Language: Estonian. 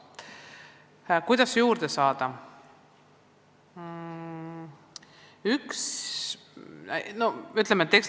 Kuidas spetsialiste juurde saada?